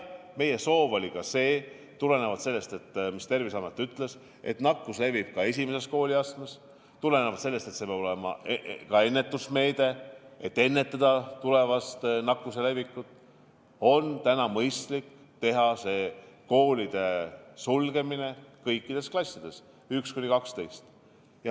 Jah, Terviseamet ütles, et kuna nakkus levib ka esimeses kooliastmes, peavad olema ennetusmeetmed, millega hoida ära tulevast nakkuse levikut ja mõistlik on sulgeda koolis kõik klassid, 1–12.